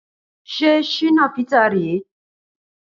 Ṣé Shina Peter rèé?